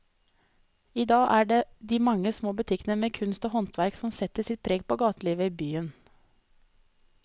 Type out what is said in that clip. I dag er det de mange små butikkene med kunst og håndverk som setter sitt preg på gatelivet i byen.